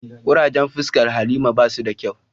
Kurajen fuscan halima ba su da kyau.